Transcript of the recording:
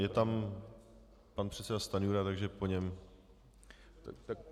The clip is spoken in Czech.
Je tam pan předseda Stanjura, takže po něm.